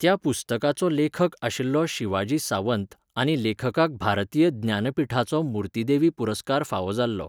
त्या पुस्तकाचो लेखक आशिल्लो शिवाजी सांवत आनी लेखकाक भारतीय ज्ञानपिठाचो मुर्तीदेवी पुरस्कार फावो जाल्लो